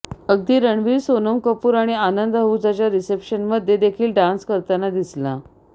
अगदी रणवीर सोनम कपूर आणि आनंद अहुजाच्या रिस्पेशनमध्ये देखील डान्स करताना दिसला